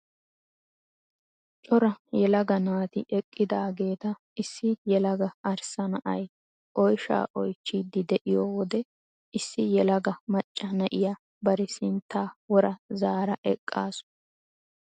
Cora yelaga naati eqqidaageeta issi yelaga arssa na'ay oyshaa oychchiidi de'iyo wode issi yelaga macca na'iya bari sinttaa wora zaara eqqaasu.